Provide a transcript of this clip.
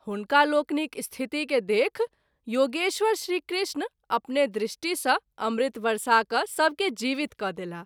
हुनकालोकनिक स्थिति के देखि योगेश्वर श्री कृष्ण अपने दृष्टि सँ अमृत वर्षा क’ सभके जीवित क’ देलाह।